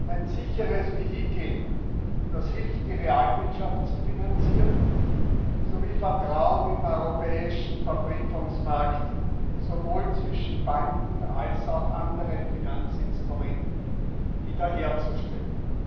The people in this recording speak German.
ein sicheres Vehikel, das hilft, die Realwirtschaft zu finanzieren sowie Vertrauen im europäischen Verbriefungsmarkt sowohl zwischen Banken als auch anderen Finanzinstrumenten wieder herzustellen.